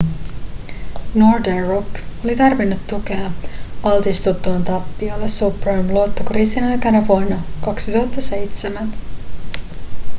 northern rock oli tarvinnut tukea altistuttuaan tappioille subprime-luottokriisin aikana vuonna 2007